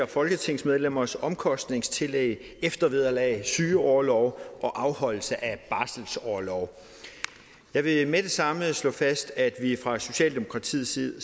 folketingsmedlemmers omkostningstillæg eftervederlag sygeorlov og afholdelse af barselsorlov jeg vil med det samme slå fast at vi fra socialdemokratiets side